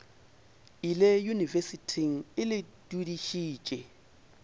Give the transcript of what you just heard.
ile yunibesithing e le dudišitše